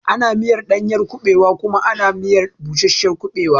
Ana miyar ɗanyar kuɓewa ana kuma miya da bushashiyar kuɓewa.